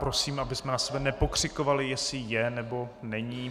Prosím, abychom na sebe nepokřikovali, jestli je, nebo není.